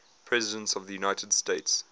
presidents of the united states